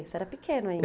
Você era pequeno ainda.